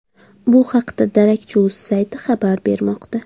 Bu haqda darakchi.uz sayti xabar bermoqda.